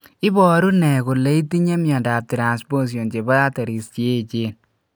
Iporu ne kole itinye miondap Transposition chepo arteries cheechen?